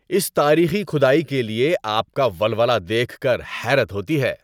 اس تاریخی کھدائی کے لیے آپ کا ولولہ دیکھ کر حیرت ہوتی ہے!